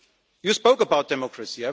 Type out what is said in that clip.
You spoke about democracy.